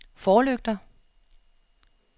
forlygter